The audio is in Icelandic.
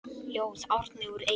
Ljóð: Árni úr Eyjum